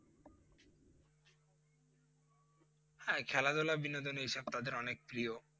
হ্যাঁ খেলাধুলা বিনোদন এইসব তাদের অনেক প্রিয়